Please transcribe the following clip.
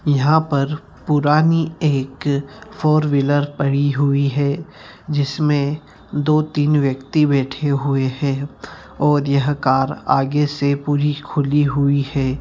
यहां पर एक पुरानी फॉर व्हीलर पड़ी हुई है जिसमे दो तीन व्यक्ति बैठे हुए है और यह कार आगे से पूरी खुली हुई है।